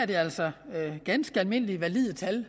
det er altså ganske almindelige valide tal